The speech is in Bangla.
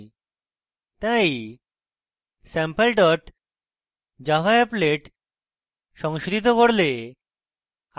তাই sample dot java applet সংশোধিত করলে